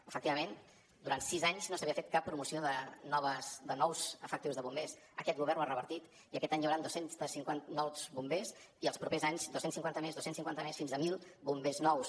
efectivament durant sis anys no s’havia fet cap promoció de nous efectius de bombers aquest govern ho ha revertit i aquest any hi hauran dos cents i cinquanta nous bombers i els propers anys dos cents i cinquanta més dos cents i cinquanta més fins a mil bombers nous